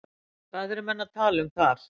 Hvað eru menn að tala um þar?